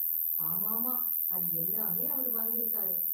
ஆமாமா, அது எல்லாமே அவரு வாங்கிருக்காரு.